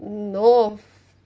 но